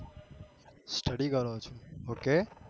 Study કરો છો okay